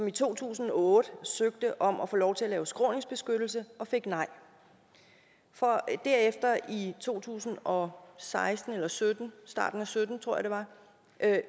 i to tusind og otte søgte om at få lov til at lave skråningsbeskyttelse og fik nej for derefter i starten to tusind og sytten sytten tror jeg det var at